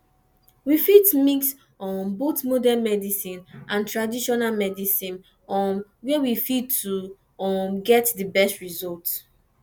we fit mix um both modern medicine and traditional medicine um where we fit to um get di best result